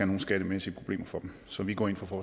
nogen skattemæssige problemer for dem så vi går ind for